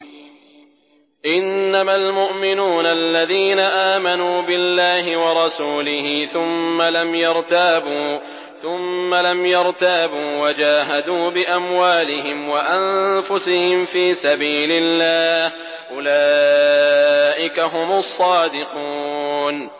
إِنَّمَا الْمُؤْمِنُونَ الَّذِينَ آمَنُوا بِاللَّهِ وَرَسُولِهِ ثُمَّ لَمْ يَرْتَابُوا وَجَاهَدُوا بِأَمْوَالِهِمْ وَأَنفُسِهِمْ فِي سَبِيلِ اللَّهِ ۚ أُولَٰئِكَ هُمُ الصَّادِقُونَ